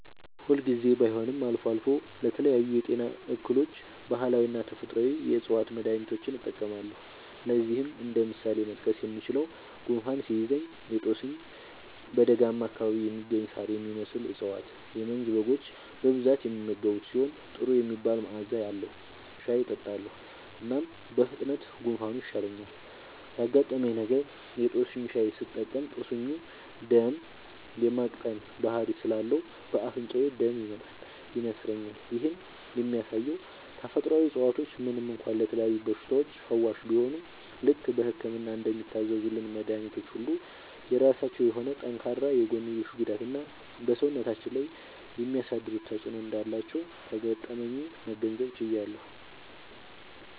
ሁል ጊዜ ባይሆንም አልፎ አልፎ ለተለያዩ የጤና እክሎች ባህላዊና ተፈጥአዊ የ ዕፅዋት መድሀኒቶችን እጠቀማለሁ። ለዚህም እንደ ምሳሌ መጥቀስ የምችለው፣ ጉንፋን ሲይዘኝ የ ጦስኝ (በደጋማ አካባቢ የሚገኝ ሳር የሚመስል እፀዋት - የመንዝ በጎች በብዛት የሚመገቡት ሲሆን ጥሩ የሚባል መዐዛ አለዉ) ሻይ እጠጣለሁ። እናም በፍጥነት ጉንፋኑ ይሻለኛል። ያጋጠመኝ ነገር:- የ ጦስኝ ሻይ ስጠቀም ጦስኙ ደም የ ማቅጠን ባህሪ ስላለው በ አፍንጫዬ ደም ይመጣል (ይነስረኛል)። ይህም የሚያሳየው ተፈጥሮአዊ እፀዋቶች ምንም እንኳ ለተለያዩ በሽታዎች ፈዋሽ ቢሆኑም፣ ልክ በህክምና እንደሚታዘዙልን መድኃኒቶች ሁሉ የራሳቸው የሆነ ጠንካራ የጎንዮሽ ጉዳትና በ ሰውነታችን ላይ የሚያሳድሩት ተጵዕኖ እንዳላቸው ከገጠመኜ መገንዘብ ችያለሁ።